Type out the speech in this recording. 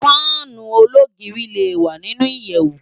Fànú ólógiri lé wá ninú iyèwú